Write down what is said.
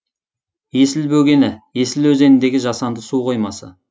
есіл бөгені есіл өзеніндегі жасанды суқоймасы